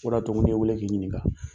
O de y'a to, n ko m'i wele k'i ɲininka.